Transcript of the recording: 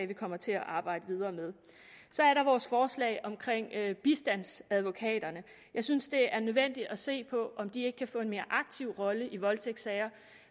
vi kommer til at arbejde videre med så er der vores forslag om bistandsadvokaterne jeg synes det er nødvendigt at se på om de ikke kan få en lidt mere aktiv rolle i voldtægtssager